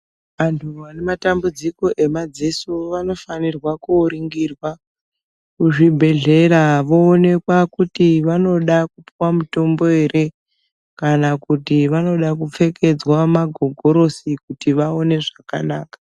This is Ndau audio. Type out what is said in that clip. Antu vane matambudziko emadziso vanofanirwa kooringirwa kuzvibhedhlera voonekwa kuti vanoda kupuwa mutombo ere kana kuti vanoda kupfekedzwa magogorosi kuti vaone zvakanaka.